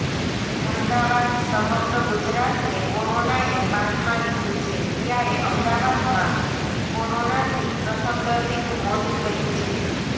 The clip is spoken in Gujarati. અમદાવાદઃ સમગ્ર ગુજરાતને કોરોનાએ બાનમાં લીધું છે ત્યારે અમદાવાદમાં કોરોનાથી પ્રથમ દર્દીનું મોત થયું છે